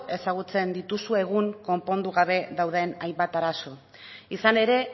ezagutzen dituzu egun konpondu gabe dauden hainbat arazo izan ere